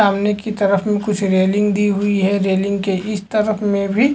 सामने की तरफ कुछ रेलिंग दी हुई है रेलिंग के इस तरफ में भी--